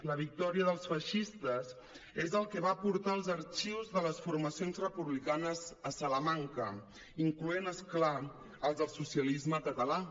la victòria dels feixistes és el que va portar els arxius de les formacions republicanes a salamanca incloent hi és clar els del socialisme català